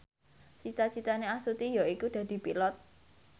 cita citane Astuti yaiku dadi Pilot